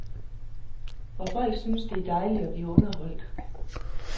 Og folk synes det er dejligt at blive underholdt.